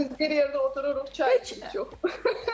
Bilirsiz, bir yerdə otururuq, çay içirik çox.